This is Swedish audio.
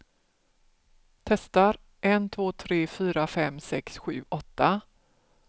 Testar en två tre fyra fem sex sju åtta.